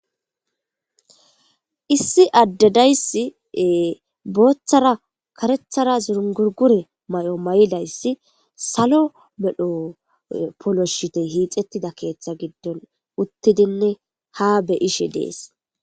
Issi adde diya issi booththara karethara zingurigure mayo mayida issi salo medho poloshite hiixettida keeththa giddon uttidinne ha beyishe dees.